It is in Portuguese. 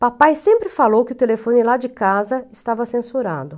Papai sempre falou que o telefone lá de casa estava censurado.